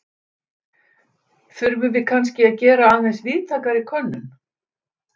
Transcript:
Þurfum við kannske að gera aðeins víðtækari könnun?